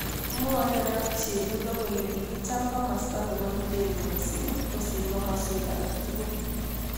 Mwoe Arap Chelugo kole kikicham komasta neBO Iten mising kosir komoswek alak tukul